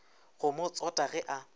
go mo tsota ge a